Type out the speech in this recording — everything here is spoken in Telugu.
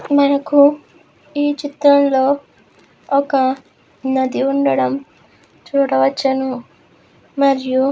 మనకు ఈ చిత్రంలో ఒక నది ఉండడం చూడవచ్చును. మరియు --